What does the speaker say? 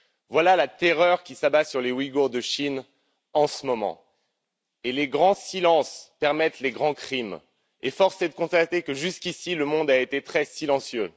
Voilà la terreur qui s'abat sur les Ouïgours de Chine en ce moment, et les grands silences permettent les grands crimes. Force est de constater que, jusqu'ici, le monde a été très silencieux.